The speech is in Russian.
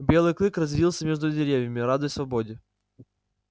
белый клык резвился между деревьями радуясь свободе